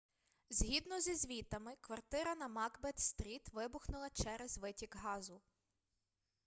згідно зі звітами квартира на макбет стріт вибухнула через витік газу